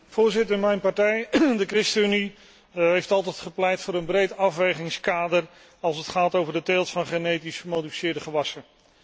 Voorzitter, mijn partij, de ChristenUnie, heeft altijd gepleit voor een breed afwegingskader als het gaat over de teelt van genetisch gemodificeerde gewassen.